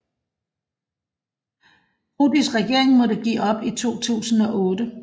Prodis regering måtte give op i 2008